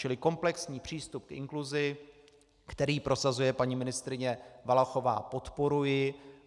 Čili komplexní přístup k inkluzi, který prosazuje paní ministryně Valachová, podporuji.